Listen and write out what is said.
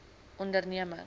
ondernemings